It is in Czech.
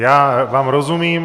Já vám rozumím.